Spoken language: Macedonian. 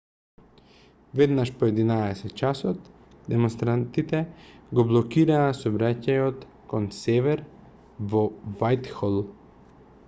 веднаш по 11:00 часот демонстрантите го блокираа сообраќајот кон север во вајтхол